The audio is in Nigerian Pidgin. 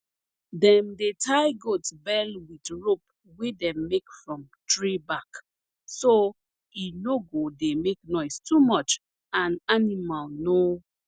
dem dey tie goat bell with rope wey dem make from tree bark so e no go dey make noise too much and animal no